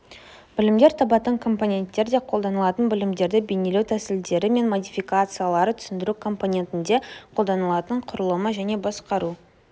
білімдер табатын компоненттер де қолданылатын білімдерді бейнелеу тәсілдері мен модификациялары түсіндіру компонентінде қолданылатын құрлымды және басқару